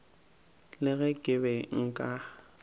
le ge ke be nka